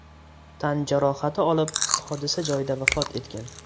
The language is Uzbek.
tan jarohati olib hodisa joyida vafot etgan.